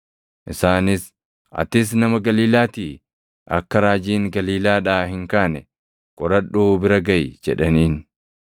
Isaanis, “Atis nama Galiilaatii? Akka raajiin Galiilaadhaa hin kaane qoradhuu bira gaʼi” jedhaniin. [ 53 Ergasii isaan hundinuu gara mana isaaniitti galan.